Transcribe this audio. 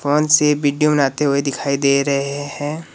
Phone से video बनाते हुए दिखाई दे रहे हैं।